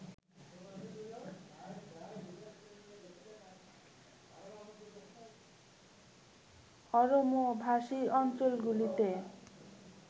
অরমোভাষী অঞ্চলগুলিতে